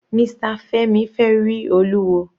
Mr Femi fẹ rí Olúwo.